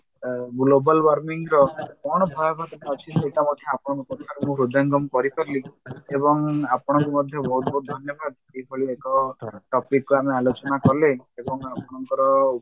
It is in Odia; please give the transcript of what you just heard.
ଆ global warming ର କଣ ଭୟାଭୀତିଟା ଅଛି ସେଇଟା ମଧ୍ୟ ଆପଣଙ୍କ କଥାରୁ ମୁଁ ହୃଦୟାଙ୍ଗମ କରିପାରିଲି ଏବଂ ଆପଣଙ୍କୁ ମଧ୍ୟ ବହୁତ ବହୁତ ଧନ୍ୟବାଦ ଏଭଳି ଏକ topicକୁ ଆମେ ଆଲୋଚନା କଲେ ଏବଂ ଆପଣଙ୍କର